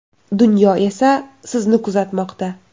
Dunyo esa sizni kuzatmoqda.